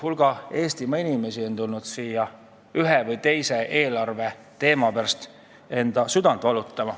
Hulk Eestimaa inimesi on tulnud siia, et juhtida tähelepanu ühele või teisele eelarveteemale, mille pärast süda valutab.